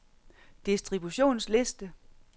distributionsliste